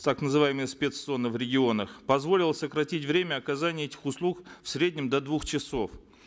так называемых спец цонов в регионах позволило сократить время оказания этих услуг в среднем до двух часов